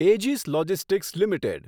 Aegis Logistics limited